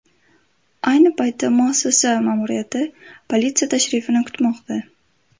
Ayni paytda muassasa ma’muriyati politsiya tashrifini kutmoqda.